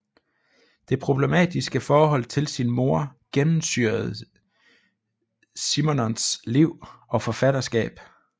Det problematiske forhold til sin mor gennemsyrede Simenons liv og forfatterskab